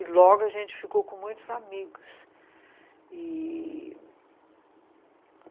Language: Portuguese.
E logo a gente ficou com muitos amigos e...